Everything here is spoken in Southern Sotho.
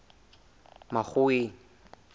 makgoweng